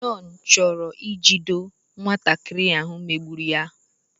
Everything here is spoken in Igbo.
John chọrọ ijido nwatakịrị megburu ya